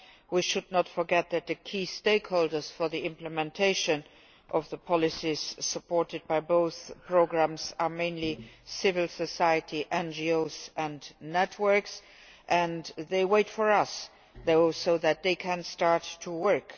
We should not forget that the key stakeholders for the implementation of the policies supported by both programmes are mainly civil society, NGOs and networks, and they are waiting for us so that they can start to work.